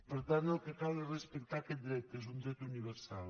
per tant el que cal és respectar aquest dret que és un dret universal